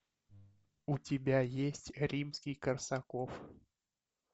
у тебя есть римский корсаков